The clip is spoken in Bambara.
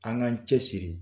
An k'an cɛsiri